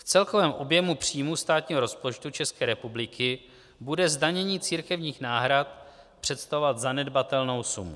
V celkovém objemu příjmů státního rozpočtu České republiky bude zdanění církevních náhrad představovat zanedbatelnou sumu.